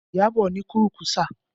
Iyabọ̀ ni kúrú-kùsà